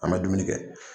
An bɛ dumuni kɛ